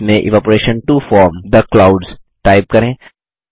इसमें evaporation to form the clouds type करें